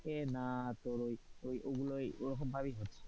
না তোর ওইগুলোই ওরকম ভাবেই হচ্ছে,